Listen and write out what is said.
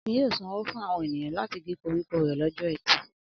Akin yóò sanwó fún àwọn ènìyàn láti gé koríko rẹ̀ lọ́jọ́ ẹtì.